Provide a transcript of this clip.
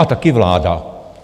A taky vláda.